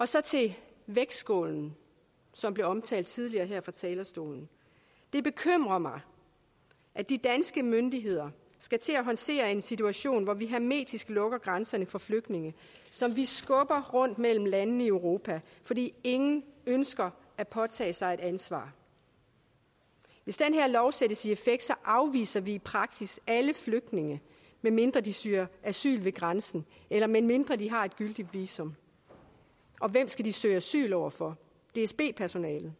så til vægtskålen som blev omtalt tidligere her fra talerstolen det bekymrer mig at de danske myndigheder skal til at håndtere en situation hvor vi hermetisk lukker grænserne for flygtninge som vi skubber rundt mellem landene i europa fordi ingen ønsker at påtage sig et ansvar hvis den her lov sættes i effekt afviser vi i praksis alle flygtninge medmindre de søger asyl ved grænsen eller medmindre de har et gyldigt visum og hvem skal de søge asyl over for dsb personalet